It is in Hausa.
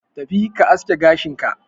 Tafi ka aske gashin ka